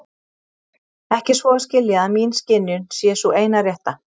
Ekki svo að skilja að mín skynjun sé sú eina rétta.